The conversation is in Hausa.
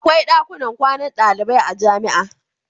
Akwai dakunan kwanan dalibai a jami'a.